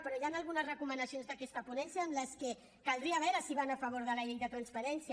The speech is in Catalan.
però hi han algunes recomanacions d’aquesta ponència que caldria veure si van a favor de la llei de transparència